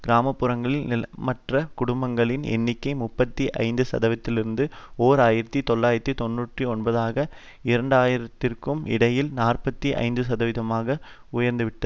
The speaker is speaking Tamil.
கிராம புறங்களில் நிலமற்ற குடும்பங்களின் எண்ணிக்கை முப்பத்தி ஐந்து சதவீதத்திலிருந்து ஓர் ஆயிரத்தி தொள்ளாயிரத்து தொன்னூற்றி ஒன்பதுக்கும் இரண்டு ஆயிரம்திற்கும் இடையில் நாற்பத்தி ஐந்து சதவீதமாக உயர்ந்துவிட்டது